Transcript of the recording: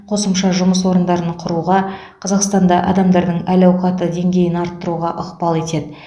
қосымша жұмыс орындарын құруға қазақстанда адамдардың әл ауқатының деңгейін арттыруға ықпал етеді